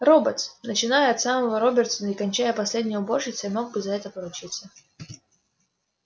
роботс начиная от самого робертсона и кончая последней уборщицей мог бы за это поручиться